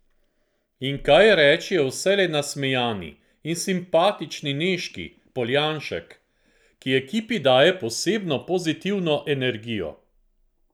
In kaj reči o vselej nasmejani in simpatični Nežki Poljanšek, ki ekipi daje posebno pozitivno energijo?